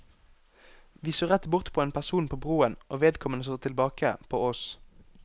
Vi så rett bort på en person på broen, og vedkommende så tilbake på oss.